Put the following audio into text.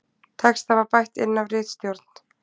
Texta var bætt inn af ritstjórn